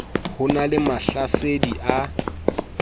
ho na le mahlasedi a